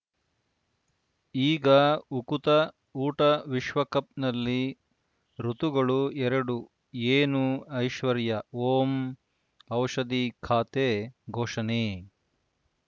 ಈಗ ಉಕುತ ಊಟ ವಿಶ್ವಕಪ್‌ನಲ್ಲಿ ಋತುಗಳು ಎರಡು ಏನು ಐಶ್ವರ್ಯಾ ಓಂ ಔಷಧಿ ಖಾತೆ ಘೋಷಣೆ